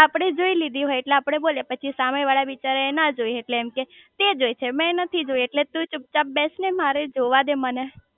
આપડે જોઈ લીધી હોય એટલે આપડે બોલીયે પછી સામે વાળા બિચારા એ ના જોઈ હોય એટલે એમ કે તે જોઈ છે મેં નથી જોઈ એટલે તુ ચૂપ ચાપ બેસ ને મારે જોવાદે મને